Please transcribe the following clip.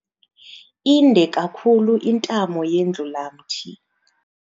Inde kakhulu intamo yendlulamthi.